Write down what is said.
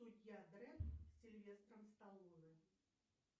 судья дредд с сильвестром сталлоне